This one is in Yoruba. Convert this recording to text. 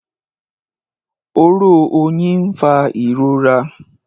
Oró oyin n'fa ìrora